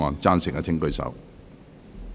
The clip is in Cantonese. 贊成的請舉手。